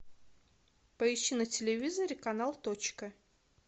поищи на телевизоре канал точка